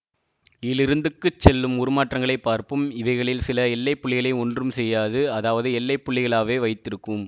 இலிருந்துக்குச் செல்லும் உருமாற்றங்களைப் பார்ப்போம் இவைகளில் சில எல்லை புள்ளிகளை ஒன்றும் செய்யாது அதாவது எல்லை புள்ளிகளாகவே வைத்திருக்கும்